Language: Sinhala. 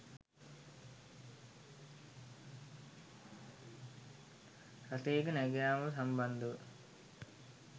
රථයක නැඟයාම සම්බන්ධව